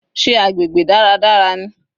Sé agbègbè dáradára ni?